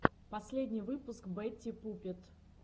последний выпуск бэтти пуппет